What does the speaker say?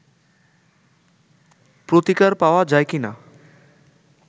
প্রতিকার পা্ওয়া যায় কিনা